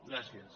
gràcies